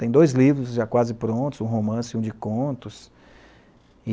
Tem dois livros já quase prontos, um romance e um de contos.